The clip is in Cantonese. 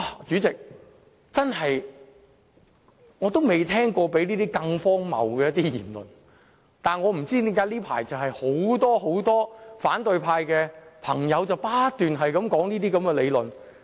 主席，我從未聽過比這更荒謬的言論，但我不知道為何這一陣子很多反對派朋友都在不斷重複這些言論。